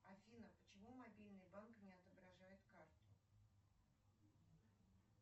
афина почему мобильный банк не отображает карту